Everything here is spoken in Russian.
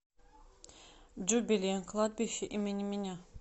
джубили кладбище имени меня